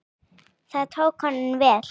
Það tókst honum vel.